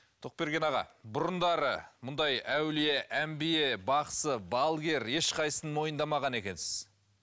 тоқберген аға бұрындары мұндай әулие әмбие бақсы балгер ешқайсысын мойындамаған екенсіз